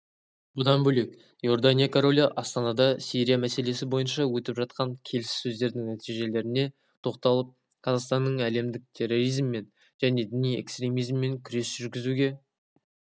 бұдан бөлек иордания королі астанада сирия мәселесі бойынша өтіп жатқан келіссөздердің нәтижелеріне тоқталып қазақстанның әлемдік терроризммен және діни экстремизммен күрес жүргізуге